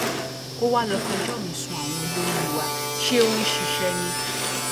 ó wàá lọọ fẹjọ mi sun àwọn olórí wa ṣé ó ń ṣiṣẹ ni